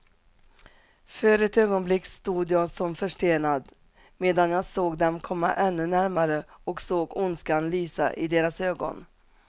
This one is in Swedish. För ett ögonblick stod jag som förstenad, medan jag såg dem komma ännu närmare och såg ondskan lysa i deras ögon.